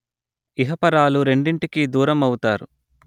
ఇహపరాలు రెండింటికీ దూరమవుతారు